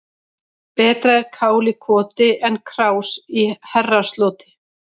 Betra er kál í koti en krás í herrasloti.